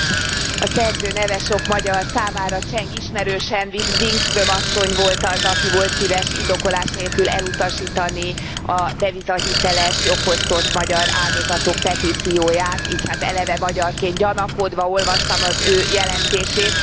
Elnök Úr, a szerző neve sok magyar számára cseng ismerősen, Wikström asszony volt az, aki volt szíves indokolás nélkül elutasítani a devizahiteles, jogfosztott magyar áldozatok petícióját, így hát eleve magyarként gyanakodva olvastam az ő jelentését.